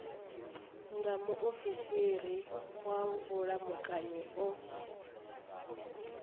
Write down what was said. nga muofisiri wa vhulamukanyi o